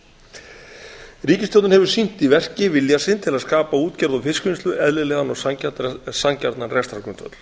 krónur ríkisstjórnin hefur sýnt í verki vilja sinn til að skapa útgerð og fiskvinnslu eðlilegan og sanngjarnan rekstrargrundvöll